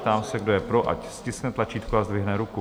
Ptám se, kdo je pro, ať stiskne tlačítko a zdvihne ruku.